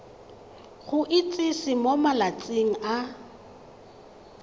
go itsise mo malatsing a